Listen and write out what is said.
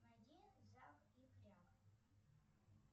найди зак и кряк